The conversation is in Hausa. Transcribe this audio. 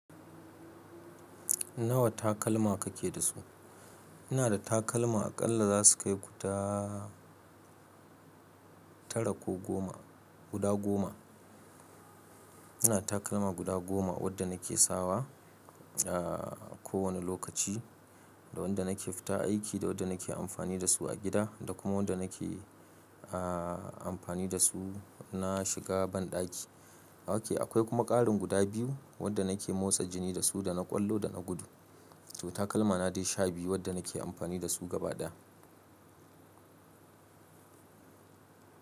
Nawa takalma kake da su? Ina da takalma aƙalla za su kai guda tara ko goma. Guda goma Ina takalma guda goma wadda nake sawa a kowane lokaci, da wanda nake fita aiki, da wadda nake amfani da su a gida, da kuma wanda nake amfani da su na shiga banɗaki. Oke, akwai kuma ƙarin guda biyu wadda nake motsa jini da su da na ƙwallo da na gudu. To takalmana dai sha biyu waɗanda nake amfani da su gaba ɗaya.